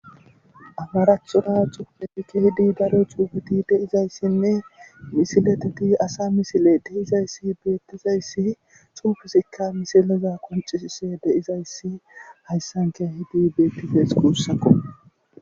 Amaraathura cupupekke hidi dare cuugeti deizayssinne misileteti asa misile deizayssi beettizayssi xuufusikka misileza qoncisise deizayssi hayssanke hidi beettizas kuussako